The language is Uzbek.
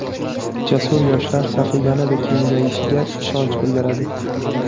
jasur yoshlar safi yanada kengayishiga ishonch bildiradi!.